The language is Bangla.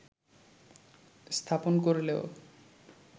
স্থাপন করলেও